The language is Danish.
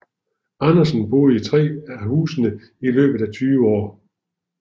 Andersen boede i tre af husene i løbet af tyve år